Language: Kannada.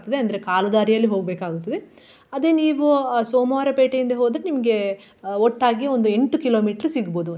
ಅಂದ್ರೆ ಕಾಲುದಾರಿಯಲ್ಲಿ ಹೋಗ್ಬೇಕಾಗುತ್ತದೆ ಅದೇ ನೀವು ಸೋಮವಾರ ಪೇಟೆಯಿಂದ ಹೋದ್ರೆ ನಿಮ್ಗೆ ಒಟ್ಟಾಗಿ ಒಂದು ಎಂಟು kilometre ಸಿಗ್ಬಹುದು.